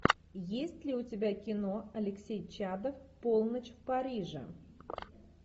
есть ли у тебя кино алексей чадов полночь в париже